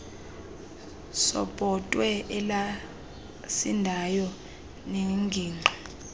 sebhotwe elasindayo nengingqi